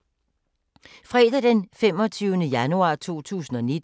Fredag d. 25. januar 2019